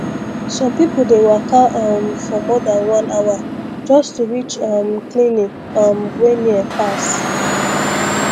some people dey waka um for more than one hour just to reach um clinic um wey near pass